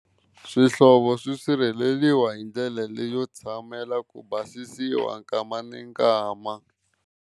Swihlovo swi sirheleriwa hi ndlela leyo tshamela ku basisiwa nkama ni nkama.